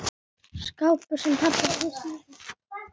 Skápur, sem pabbi hafði smíðað.